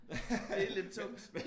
Det lidt tungt